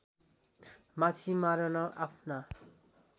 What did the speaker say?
माछी मारन आफ्ना